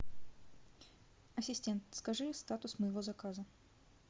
ассистент скажи статус моего заказа